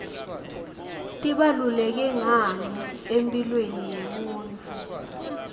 tibaluleke ngani emphilweni yemunifu